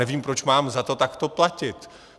Nevím, proč mám za to takto platit.